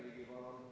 Jürgen Ligi, palun!